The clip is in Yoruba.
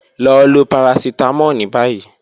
Lọ lo paracetamol ni bayi.